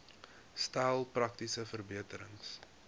stel praktiese verbeterings